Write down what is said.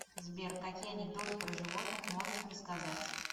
сбер какие анекдоты про животных можешь рассказать